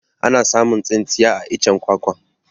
Ana samun tsintsiya a iccen kwakwa